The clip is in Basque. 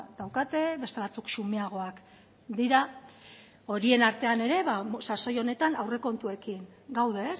daukate beste batzuk zumeagoak dira horien artean ere sasoi honetan aurrekontuekin gaude